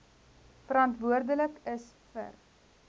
verantwoordelik is vir